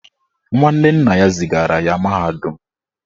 Nwanne nna ya zigara ya mahadum